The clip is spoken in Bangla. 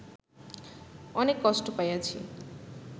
অনেক কষ্ট পাইয়াছি